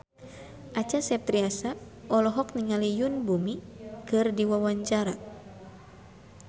Acha Septriasa olohok ningali Yoon Bomi keur diwawancara